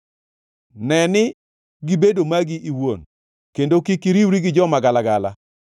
Ne ni gibedo magi iwuon kendo kik iriwgi gi joma galagala.